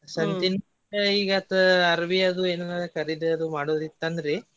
ಸಂತಿ ಅಂದ್ರ ಈಗತ ಅರವಿ ಅದು ಏನ್ರ ಕರಿದಿ ಅದು ಮಾಡೋದ್ ಇತ್ತ್ ಅಂದ್ರಿ.